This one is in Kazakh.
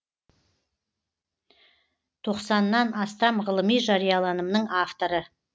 тоқсаннан астам ғылыми жарияланымның авторы